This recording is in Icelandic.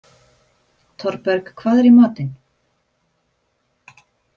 Thorberg, hvað er í matinn?